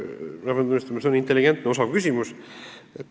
Ma pean tunnistama, et see on intelligentne, osav küsimus.